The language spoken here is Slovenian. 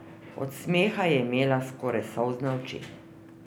Od smeha je imela skoraj solzne oči.